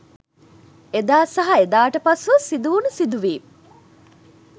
එදා සහ එදාට පසුව සිදුවුනු සිදුවීම්